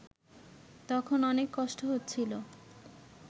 তখন অনেক কষ্ট হচ্ছিল